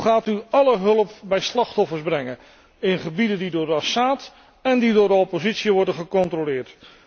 Hoe gaat u alle hulp bij de slachtoffers brengen in gebieden die door Assad en door de oppositie worden gecontroleerd?